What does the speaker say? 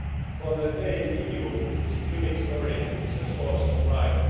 For the EU, this unique story is a source of pride.